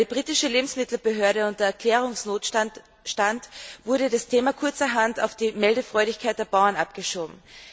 Weil die britische Lebensmittelbehörde unter Erklärungsnotstand stand, wurde das Thema kurzerhand auf die Meldefreudigkeit der Bauern abgeschoben.